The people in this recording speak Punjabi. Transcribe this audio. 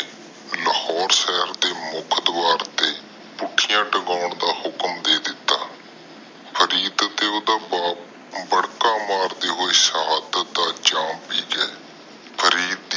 ਲਾਹੌਰ ਸਾਹਿਬ ਦੇ ਮੁਖ ਦਵਾਰ ਤੇ ਭੁਖਿਆ ਲਾਮਕਾਨ ਦਾ ਹੁਕਮ ਦੇ ਦਿਤਾ ਫਰੀਦ ਤੇ ਓਹਦਾ ਬੱਪ ਬੈਰਕ ਮਾਰਦੇ ਹੋਏ ਸਿਹਦਾਤ ਦਾ ਜੈਮ ਬੀਜਿਆ